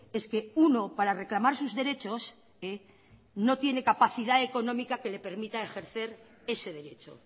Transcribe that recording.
es que uno para reclamar sus derechos no tiene capacidad económica que le permita ejercer ese derecho